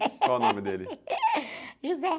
Qual o nome dele?).